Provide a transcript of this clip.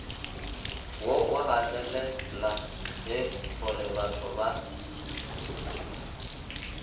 wo o gatelela gorebatho ba